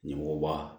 Ɲɛmɔgɔba